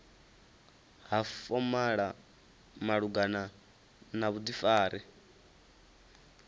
ha fomala malugana na vhudifari